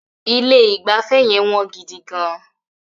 Ilé ìgbafẹ́ yẹn wọ́n gidi gán.